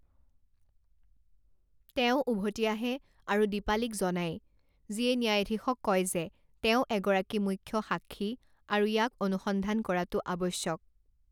তেওঁ উভতি আহে আৰু দীপালিক জনায়, যিয়ে ন্যায়ধীশক কয় যে তেওঁ এগৰাকী মুখ্য সাক্ষী আৰু ইয়াক অনুসন্ধান কৰাটো আৱশ্যক।